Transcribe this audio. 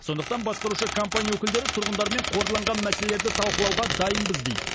сондықтан басқарушы компания өкілдері тұрғындармен қордаланған мәселелерді талқылауға дайынбыз дейді